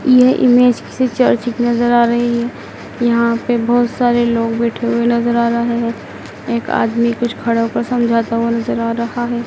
यह इमेज किसी चर्च की नजर आ रही है यहां पे बहुत सारे लोग बैठे हुए नज़र आ रहा हैं एक आदमी कुछ खड़ा हो कर समझाता हुआ नजर आ रहा है।